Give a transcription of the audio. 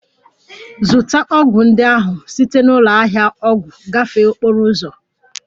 Zụta ọgwụ ndị ahụ site na ụlọ ahịa ọgwụ gafee okporo ụzọ!